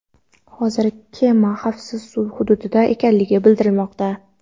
Hozirda kema xavfsiz suv hududida ekanligi bildirilmoqda.